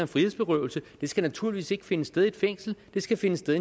frihedsberøvelse skal naturligvis ikke finde sted i et fængsel den skal finde sted